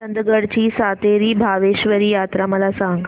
चंदगड ची सातेरी भावेश्वरी यात्रा मला सांग